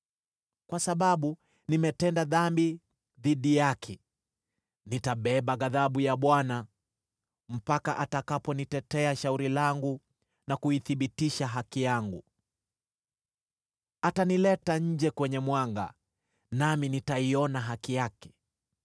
Kwa sababu nimetenda dhambi dhidi yake, nitabeba ghadhabu ya Bwana , mpaka atakaponitetea shauri langu na kuithibitisha haki yangu. Atanileta nje kwenye mwanga, nami nitaiona haki yake.